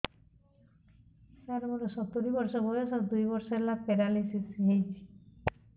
ସାର ମୋର ସତୂରୀ ବର୍ଷ ବୟସ ଦୁଇ ବର୍ଷ ହେଲା ପେରାଲିଶିଶ ହେଇଚି